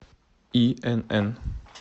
инн